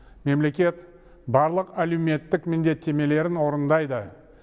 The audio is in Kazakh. мемлекет барлық әлеуметтік міндеттемелерін орындайды